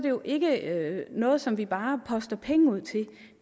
jo ikke noget som vi bare poster penge ud til